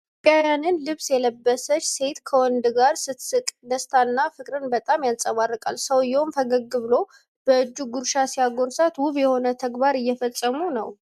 የኢትዮጵያውያንን ልብስ የለበሰች ሴት ከወንድ ጋር ስትስቅ ደስታና ፍቅር በጣም ይንጸባረቃል። ሰውየውም ፈገግ ብሎ በእጁ ጉርሻ ሲያጎርሳት ውብ የሆነ ተግባር እየፈጸሙ ነው።